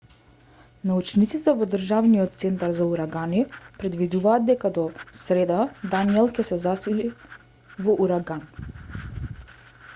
научниците во државниот центар за урагани предвидуваат дека до среда даниел ќе се засили во ураган